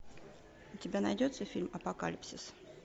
у тебя найдется фильм апокалипсис